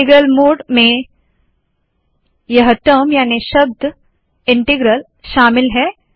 integral mode में यह term याने शब्द इन्टग्रल शामिल है